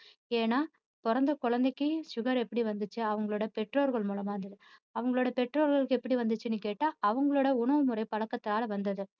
ஏன்னா பொறந்த குழந்தைக்கு sugar எப்படி வந்துச்சு அவங்களோட பெற்றோர்கள் மூலமா வந்தது, அவங்களோட பெற்றோர்களுக்கு எப்படி வந்துச்சுன்னு கேட்டா அவங்களோட உணவுமுறை பழக்கத்தால வந்தது.